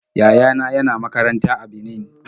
Yaya na yana makaranta a Benin.